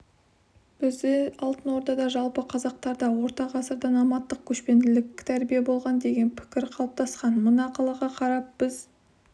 бізде алтын ордада жалпықазақтардаорта ғасырда номадтық көшпенділік тәрбие болған деген пікір қалыптасқан мына қалаға қарап біз